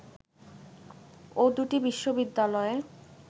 ও দু’টি বিশ্ববিদ্যালয়ে